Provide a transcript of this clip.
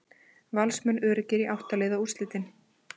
Valsmenn öruggir í átta liða úrslitin